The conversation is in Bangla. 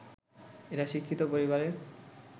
এরা শিক্ষিত পরিবারের